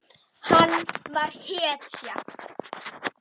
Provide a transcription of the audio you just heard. Hann var hetja.